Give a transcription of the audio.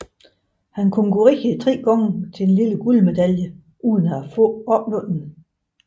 Han konkurrerede tre gange til den lille guldmedalje uden at opnå den